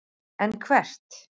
En hvert?